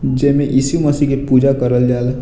जे में ईसू मसीह के पूजा करल जा ला |